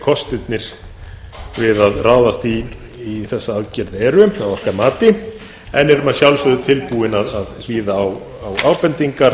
kostirnir við að ráðast í þessa aðgerð eru að okkar mati en erum að sjálfsögðu tilbúin að hlýða á ábendingar